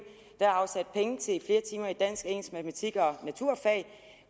der er afsat penge til flere timer i dansk engelsk matematik og naturfag